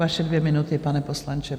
Vaše dvě minuty, pane poslanče.